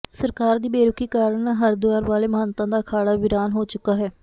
ਸਰਕਾਰ ਦੀ ਬੇਰੁਖ਼ੀ ਕਾਰਨ ਹਰਿਦੁਆਰ ਵਾਲੇ ਮਹੰਤਾਂ ਦਾ ਅਖਾਡ਼ਾ ਵੀਰਾਨ ਹੋ ਚੁੱਕਾ ਹੈ